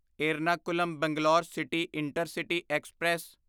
Ernakulam Bangalore city intercity express